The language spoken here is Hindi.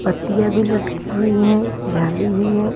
पत्तियाँ भी लटकी हुई हैं जाली हुई हैं।